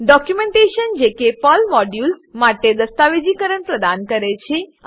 documentation documentation જે કે Perl modules Perl મોડ્યુલો માટે દસ્તાવેજીકરણ પ્રદાન કરે છે